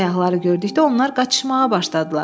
Səyyahları gördükdə onlar qaçışmağa başladılar.